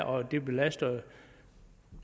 og det belaster